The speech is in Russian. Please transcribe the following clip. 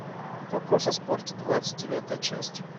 вопрос о спорте двадцать девятая часть